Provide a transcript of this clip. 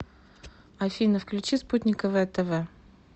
афина включи спутниковое тэ вэ